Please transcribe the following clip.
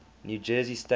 new jersey state